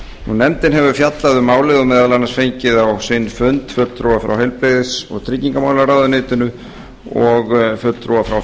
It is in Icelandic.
nefndin hefur fjallað um málið og meðal annars fengið á sinn fund fulltrúa frá heilbrigðis og tryggingamálaráðuneyti og fulltrúa frá